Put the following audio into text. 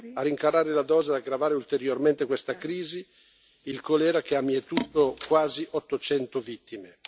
A rincarare la dose e ad aggravare ulteriormente questa crisi il colera che ha mietuto quasi 800 vittime.